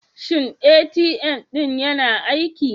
Shin ATM ɗin yana aiki?